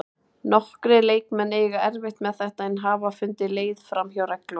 Nokkrir leikmenn eiga erfitt með þetta en hafa fundið leið framhjá reglunum.